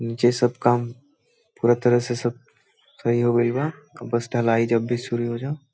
नीचे सब काम पूरा तरह से सब सही हो गेल बा | अब बस ढलाई जब भी शुरू हो जाओ |